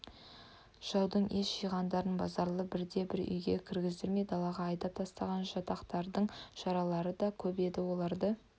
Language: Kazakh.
жаудың ес жиғандарын базаралы бірде-бір үйге кіргіздірмей далаға айдап тастаған жатақтардың жаралылары да көп еді оларды